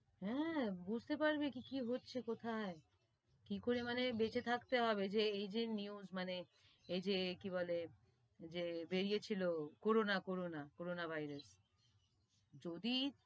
হেঁ, বুঝতে পারবি কি কি হচ্ছে কোথায় কি করে মানে বেঁচে থাকতে হবে? এই যে news মানে এই যে কি বলে যে বেরিয়ে ছিলো কোরোনা, কোরোনা, কোরোনা ভাইরাস যদি,